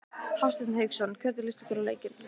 Hafsteinn Hauksson: Hvernig líst ykkur á leikinn?